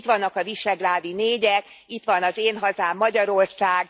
Itt vannak a visegrádi négyek, itt van az én hazám, Magyarország.